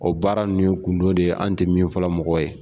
O baara nunnu ye kundo de ye an tɛ min fɔla mɔgɔw ye.